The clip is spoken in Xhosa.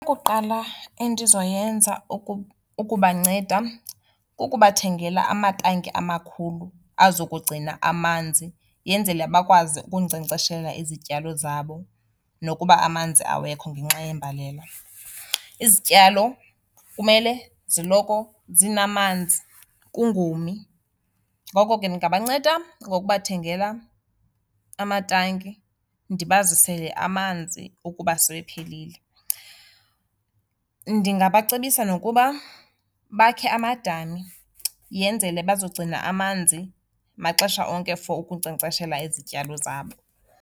Ukuqala endizoyenza ukubanceda kukubathengela amatanki amakhulu azokugcina amanzi yenzele bakwazi ukunkcenkceshela izityalo zabo nokuba amanzi awekho ngenxa yembalela. Izityalo kumele ziloko zinamanzi kungomi, ngoko ke ndingabanceda ngokubathengela amatanki, ndibazisele amanzi ukuba sewephelile. Ndingabacebisa nokuba bakhe amadami yenzele bazogcina amanzi maxesha onke for ukunkcenkceshela izityalo zabo.